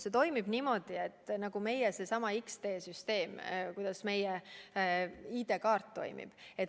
See toimib niimoodi nagu meie X-tee süsteem, nagu meie ID-kaart toimib.